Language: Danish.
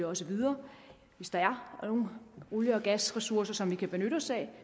også videre hvis der er nogle olie og gasressourcer som vi kan benytte os af